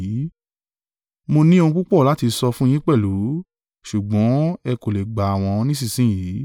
“Mo ní ohun púpọ̀ láti sọ fún yín pẹ̀lú, ṣùgbọ́n ẹ kò lè gbà wọ́n nísinsin yìí.